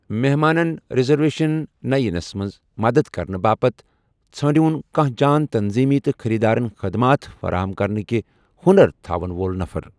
محمانن reservations تہٕ یِنس منز مدتھ كرنہٕ باپت ژھٲ نڈِیوُن كانہہ جان تنظیمی تہٕ خریدارن خدمات فراہم كرنٕكہِ ہونر تھاون وول نفر۔